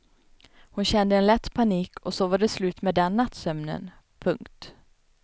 Hon kände en lätt panik och så var det slut med den nattsömnen. punkt